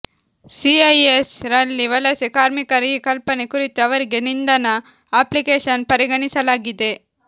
CIS ರಲ್ಲಿ ವಲಸೆ ಕಾರ್ಮಿಕರ ಈ ಕಲ್ಪನೆ ಕುರಿತು ಅವರಿಗೆ ನಿಂದನಾ ಅಪ್ಲಿಕೇಶನ್ ಪರಿಗಣಿಸಲಾಗಿದೆ